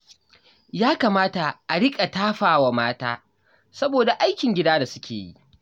Ya kamata a riƙa tafa wa mata saboda aikin gida da suke yi.